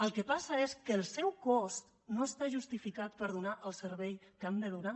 el que passa és que el seu cost no està justificat per donar el servei que han de donar